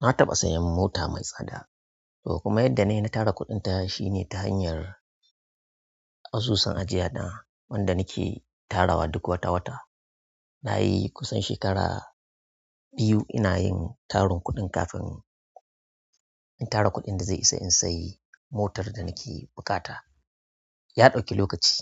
Na taɓa sayan mota mai tsada, to kuma yadda na yi na tara kuɗinta shine ta hanyar asusun ajiya na wanda nake tarawa duk wata-wata. Na yi kusan shekara biyu ina yin tarin kuɗin kafin in tara kuɗin da zai isa in sayi motar da nake buƙata. Ya ɗauki lokaci,